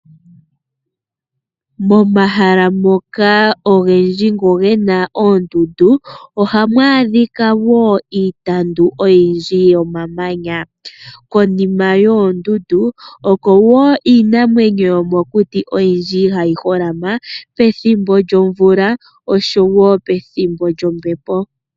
Momahala ngoka ogendji ngono ge na oondundu ohamu adhika wo iipambu oyindji yomamanya. Konima yoondundu oko wo iinamwenyo yomokuti oyindji ha yi holama pethimbo lyomvula osho wo pethimbo lyombepo.